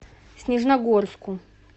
снежногорску